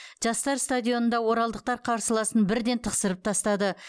жастар стадионында оралдықтар қарсыласын бірден тықсырып тастады